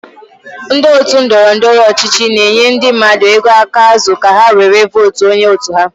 Ndị otu ndọrọndọrọ ọchịchị na-enye ndị mmadụ ego aka azu ka ha were vootuo onye otu ha.